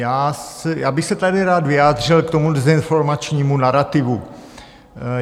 Já bych se tady rád vyjádřil k tomu dezinformačnímu narativu.